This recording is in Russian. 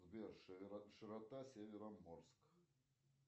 сбер широта североморск